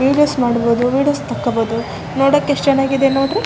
Videos ಮಾಡಬಹುದು videos ತೆಕ್ಕೋಬಹುದು ನೋಡೋಕ್ ಎಸ್ಟ್ ಚೆನ್ನಾಗಿದೆ ನೋಡ್ರಿ.